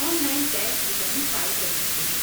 On line tax return file کر سکتے ہیں۔